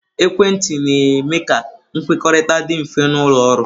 Ekwentị na-eme ka nkwukọrịta dị mfe n'ụlọ ọrụ.